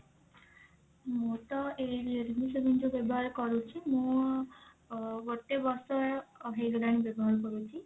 ମୁଁ ତ ଏଇ realme seven ଯଉ ବ୍ୟବହାର କରୁଛି ମୁଁ ଅ ଗୋଟେ ବର୍ଷ ଅ ହେଇଗଲାଣି ବ୍ୟବହାର କରୁଛି